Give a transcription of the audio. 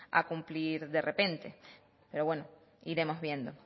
a cumplir de repente pero bueno iremos viendo